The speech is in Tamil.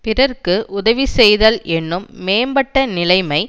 பிறர்க்கு உதவி செய்தல் என்னும் மேம்பட்ட நிலைமை